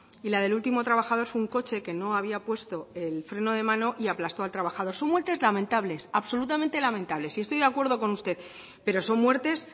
y la del último trabajador fue un coche que no había puesto el freno de mano y aplastó al trabajador son muertes lamentables absolutamente lamentables y estoy de acuerdo con usted pero son muertes